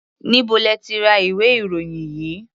Níbo lẹ ti ra ìwé-ìròyìn yìí?